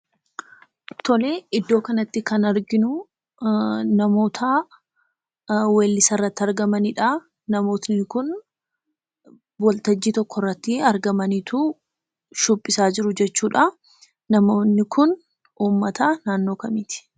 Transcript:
Tolee, iddoo kanatti kan arginuu namootaa weellisa irratti argamanidhaa. Namootni kun waltajjiii tokkorratti argamaniituu shubbisaa jiru jechuudhaa. Namootni kun uummataa naannoo kamiiti?